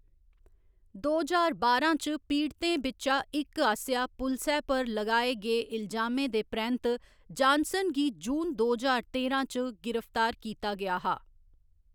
दो ज्हार बारां च पीड़तें बिच्चा इक आसेआ पुलसै पर लगाए गे इलजामें दे परैंत्त जानसन गी जून दो ज्हार तेरां च गिरफ्तार कीता गेआ हा।